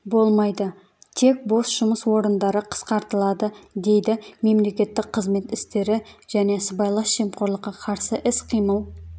болмайды тек бос жұмыс орындары қысқартылады дейді мемлекеттік қызмет істері және сыбайлас жемқорлыққа қарсы іс-қимыл